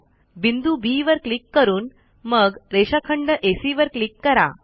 बिंदू बी वर क्लिक करून मग रेषाखंड एसी वर क्लिक करा